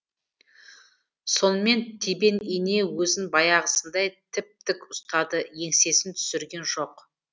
сонымен тебен ине өзін баяғысындай тіп тік ұстады еңсесін түсірген жоқ